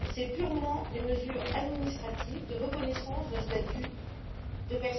Ce sont purement des mesures administratives de reconnaissance d'un statut de personne vulnérable.